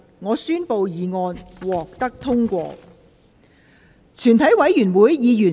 我宣布議案獲得通過。